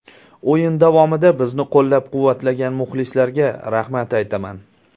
O‘yin davomida bizni qo‘llab-quvvatlagan muxlislarga rahmat aytaman”.